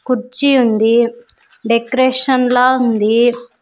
కుర్చీ ఉంది డెకరేషన్ లా ఉంది.